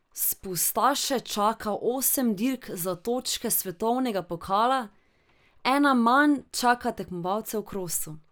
Spustaše čaka osem dirk za točke svetovnega pokala, ena manj čaka tekmovalce v krosu.